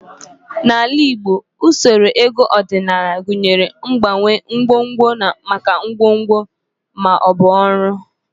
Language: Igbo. N'ala Igbo, usoro ego ọdịnala gụnyere mgbanwe ngwongwo maka ngwongwo ma ọ bụ ọrụ